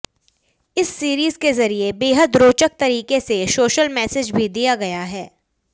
इस सीरीज के जरिए बेहद रोचक तरीके से सोशल मैसेज भी दिया गया है